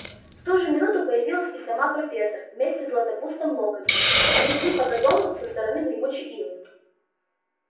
в ту же минуту появилась и сама профессор вместе с златопустом локонсом они шли по газону со стороны гремучей ивы